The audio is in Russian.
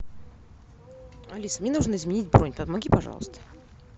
алиса мне нужно изменить бронь помоги пожалуйста